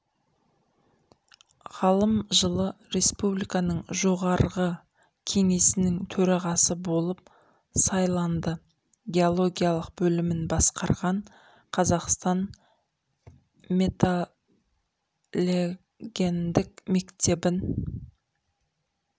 ғалым жылы республиканың жоғарғы кеңесінің төрағасы болып сайланды геологиялық бөлімін басқарған қазақстан метталогендік мектебін